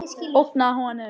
Ógna honum.